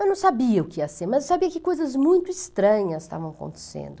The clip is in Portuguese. Eu não sabia o que ia ser, mas sabia que coisas muito estranhas estavam acontecendo.